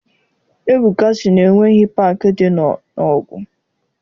Ebuka sị na enweghị paakị dị na Nọọgụ.